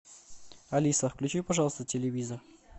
алиса включи пожалуйста телевизор